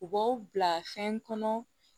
U b'aw bila fɛn kɔnɔ